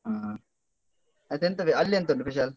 ಹ ಅದೆಂತ ಅಹ್ ಅಲ್ಲಿ ಎಂತ ಉಂಟು ಕುಶಾಲ್ ?